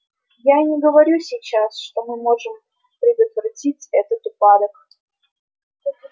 я и не говорю сейчас что мы можем предотвратить этот упадок